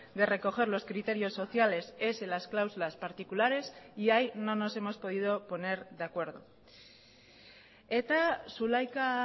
de recoger los criterios sociales es en las cláusulas particulares y ahí no nos hemos podido poner de acuerdo eta zulaika